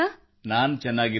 ನಾನು ಚೆನ್ನಾಗಿದ್ದೇನೆ